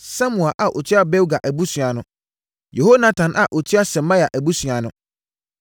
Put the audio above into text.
Samua a ɔtua Bilga abusua ano. Yehonatan a ɔtua Semaia abusua ano.